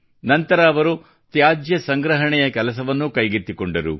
ನಂತರ ಅವರು ತ್ಯಾಜ್ಯ ಸಂಗ್ರಹಣೆಯ ಕೆಲಸವನ್ನೂ ಕೈಗೆತ್ತಿಕೊಂಡರು